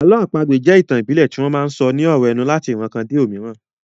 Àlọ́ àpagbè jẹ́ ìtàn ìbílẹ̀ tí wọ́n máa sọ ní ọ̀rọ̀ ẹnu láti ìran kan dé òmíràn